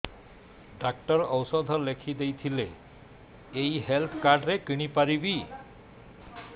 doctor ଔଷଧ ଲେଖିଦେଇଥିଲେ ଏଇ ହେଲ୍ଥ କାର୍ଡ ରେ କିଣିପାରିବି